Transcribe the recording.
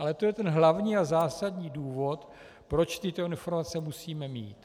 Ale to je ten hlavní a zásadní důvod, proč tyto informace musíme mít.